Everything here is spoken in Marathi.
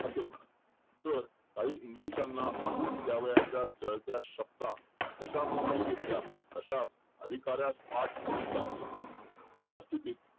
असे म्हणा, तर काही इंग्लिशांना हाकून त्यावेळेस जलदार शब्द जसा पूर्वी घेतल्यास तसाच अधिकारास म्हणून दाखवी असा स्थितीत